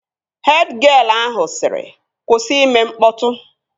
Hed gịel ahụ sịrị, kwụsị ime mkpọtụ!